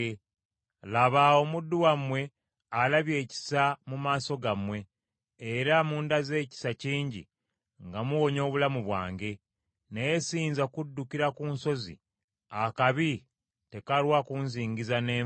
Laba, omuddu wammwe alabye ekisa mu maaso gammwe, era mundaze ekisa kingi nga muwonya obulamu bwange; naye siyinza kuddukira ku nsozi akabi tekalwa kunzingiza ne nfa.